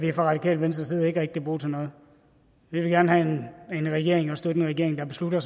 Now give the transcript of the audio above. vi fra radikale venstres side ikke rigtig bruge til noget vi vil gerne have en regering og støtte en regering der beslutter